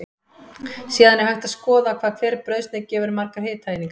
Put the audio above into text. Síðan er hægt að skoða hvað hver brauðsneið gefur margar hitaeiningar.